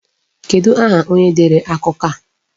Kedụ aha onye dere akụkọ a?